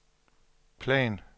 plan